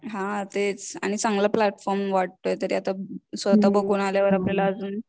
हा तेच आणि चांगलं प्लॅटफॉर्म वाटतोय तर स्वतः बघून आल्यावर आपल्याला अजून